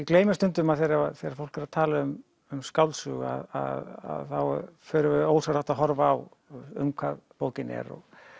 gleymist stundum að þegar fólk er að tala um um skáldsögu að þá förum við ósjálfrátt að horfa á um hvað bókin er